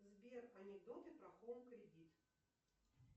сбер анекдоты про хоум кредит